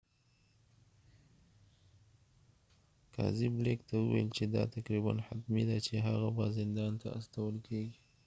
قاضي بلیک ته وویل چې دا تقریباً حتمي ده چې هغه به زندان ته استول کیږي